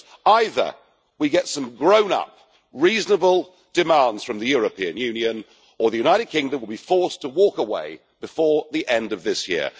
Either we get some grown up reasonable demands from the European Union or the United Kingdom will be forced to walk away before the end of this year.